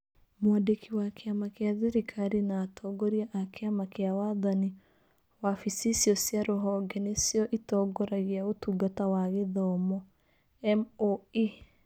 Mwandiki wa kĩama gĩa thirikari na Atongoria a Kĩama kĩa Wathani wabici icio cia rũhonge nĩcio itongoragia Ũtungata wa Gĩthomo (MoE).